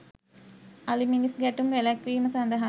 අලි මිනිස් ගැටුම් වැළැක්වීම සඳහා